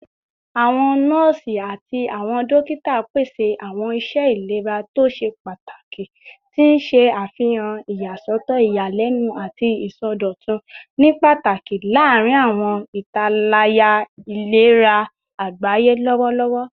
Awọn nọọsi ati awọn dokita pese awọn iṣẹ ilera to ṣe pataki, ti n ṣe afihan iyasọtọ iyalẹnu ati isọdọtun, ni pataki larin awọn italaya ilera agbaye lọwọlọwọ